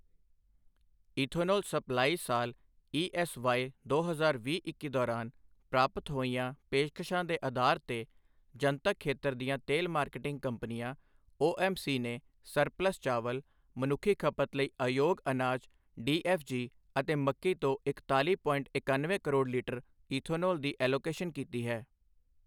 Ethanol supply ਸਾਲ ESY ਦੋ ਹਜ਼ਾਰ ਵੀਹ ਇੱਕੀ ਦੌਰਾਨ ਪ੍ਰਾਪਤ ਹੋਈਆਂ ਪੇਸ਼ਕਸ਼ਾਂ ਦੇ ਅਧਾਰ ਤੇ, ਜਨਤਕ ਖੇਤਰ ਦੀਆਂ ਤੇਲ ਮਾਰਕੀਟਿੰਗ ਕੰਪਨੀਆਂ ਓਐੱਮਸੀ ਨੇ ਸਰਪਲੱਸ ਚਾਵਲ, ਮਨੁੱਖੀ ਖਪਤ ਲਈ ਅਯੋਗ ਅਨਾਜ ਡੀਐੱਫਜੀ ਅਤੇ ਮੱਕੀ ਤੋਂ ਇਕਤਾਲੀ ਪੋਇੰਟ ਇਕਣਵੇਂ ਕਰੋੜ ਲੀਟਰ ਈਥੋਨੋਲ ਦੀ ਐਲੋਕੇਸ਼ਨ ਕੀਤੀ ਹੈ।